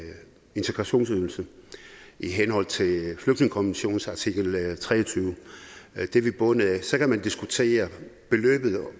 integrationsydelse i henhold til flygtningekonventionens artikel treogtyvende det er vi bundet af så kan man diskutere beløbet og